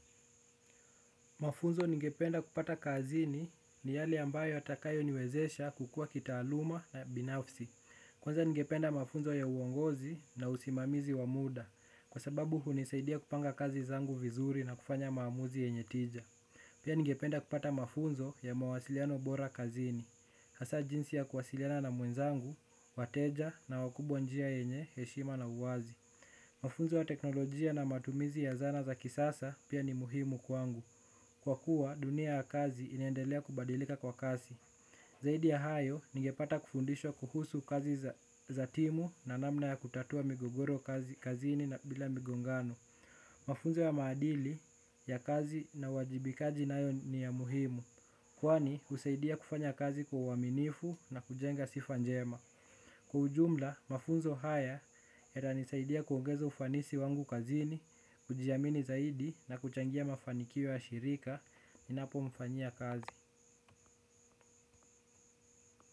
Mafunzo ningependa kupata kazini ni yale ambayo yatakayo niwezesha kukua kitaaluma binafsi. Kwanza ningependa mafunzo ya uongozi na usimamizi wa muda kwa sababu hunisaidia kupanga kazi zangu vizuri na kufanya maamuzi yenye tija pia ningependa kupata mafunzo ya mawasiliano bora kazini. Hasa jinsi ya kuwasiliana na mwenzangu, wateja na wakubwa njia yenye, heshima na uwazi. Mafunzo ya teknolojia na matumizi ya zana za kisasa pia ni muhimu kwangu. Kwa kuwa dunia ya kazi inaendelea kubadilika kwa kasi zaidi ya hayo ningepata kufundishwa kuhusu kazi za timu na namna ya kutatua migogoro kazini bila migongano mafunzo ya maadili ya kazi na uwajibikaji nayo ni ya muhimu kwani husaidia kufanya kazi kwa uaminifu na kujenga sifanjema kwa ujumla mafunzo haya yata nisaidia kuongeza ufanisi wangu kazini kujiamini zaidi na kuchangia mafanikio ya shirika ninapo mfanyia kazi.